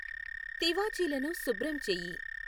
తివాచీలను శుభ్రం చెయ్యి